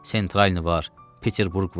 Sentralni var, Peterburq var.